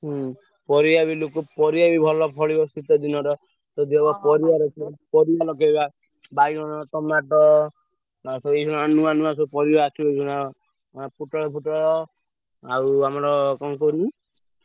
ହୁଁ ପରିବା ବି ଲୋକ ପରିବା ବି ଭଲ ଫଳିବ ଶୀତ ଦିନର ଯଦି ହବ ପରିବା ରଖିଆ ପରିବା ଲଗେଇବା ବାଇଗଣ tomato ନା ସବୁ ଏଇଖିଣା ନୂଆ ନୂଆ ସବୁ ପରିବା ଆସିବ ଏଇଖିଣା ନା ପୋଟଳ ଫୋଟଳ ଆଉ ଆମର କଣ କୁହନି ।